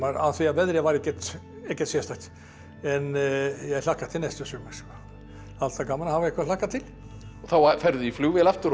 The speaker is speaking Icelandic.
af því að veðrið var ekkert sérstakt en ég hlakka til næsta sumars alltaf gaman að hafa eitthvað að hlakka til og þá ferðu í flugvél aftur og